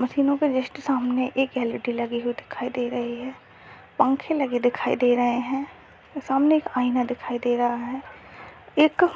मशीनों के जस्ट सामने एक एल.इ.डी. लगी हुई दिखाई दे रही है पंखे लगे दिखाई दे रहे हैं सामने एक आईना दिखाई दे रहा है एक अ